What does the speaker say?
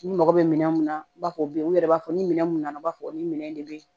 Ni mɔgɔ bɛ minɛn mun na i b'a fɔ o bɛ yen u yɛrɛ b'a fɔ ni minɛn mun nana u b'a fɔ ko minɛn de bɛ yen